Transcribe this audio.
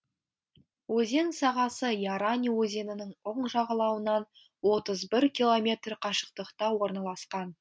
өзен сағасы ярань өзенінің оң жағалауынан отыз бір километр қашықтықта орналасқан